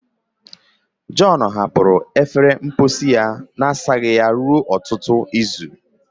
John hapụrụ efere mposi ya na-asaghị ya ruo ọtụtụ izu